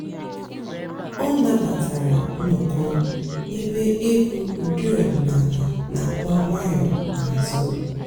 ọ́ nàbàtàrà ǹnọ́kọ̀ èbé ègwú ụ́dị́ ọ̀dị́náàlà nà-àkpọ́ ǹwànyọ́ n'àzụ́.